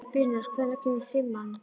Brynjar, hvenær kemur fimman?